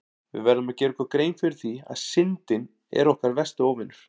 Við verðum að gera okkur grein fyrir því að Syndin er okkar versti óvinur!